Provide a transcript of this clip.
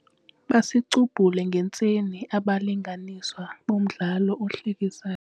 Basicubhule ngentsini abalinganiswa bomdlalo ohlekisayo.